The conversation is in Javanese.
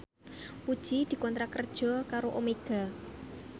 Puji dikontrak kerja karo Omega